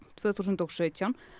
tvö þúsund og sautján